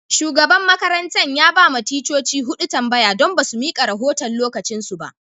Shugaban makarantan ya ba ma ticcoci hudu tambaya don ba su mika rahotan'lokacin su ba.